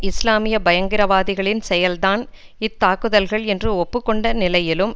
இஸ்லாமிய பயங்கரவாதிகளின் செயல் தான் இத்தாக்குதல்கள் என்று ஒப்பு கொண்ட நிலையிலும்